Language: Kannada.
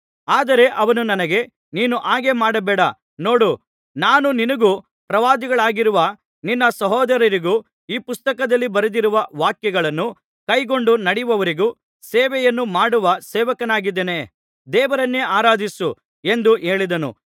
ಆದರೆ ಅವನು ನನಗೆ ನೀನು ಹಾಗೆ ಮಾಡಬೇಡ ನೋಡು ನಾನು ನಿನಗೂ ಪ್ರವಾದಿಗಳಾಗಿರುವ ನಿನ್ನ ಸಹೋದರರಿಗೂ ಈ ಪುಸ್ತಕದಲ್ಲಿ ಬರೆದಿರುವ ವಾಕ್ಯಗಳನ್ನು ಕೈಕೊಂಡು ನಡೆಯುವವರಿಗೂ ಸೇವೆಯನ್ನು ಮಾಡುವ ಸೇವಕನಾಗಿದ್ದೇನೆ ದೇವರನ್ನೇ ಆರಾಧಿಸು ಎಂದು ಹೇಳಿದನು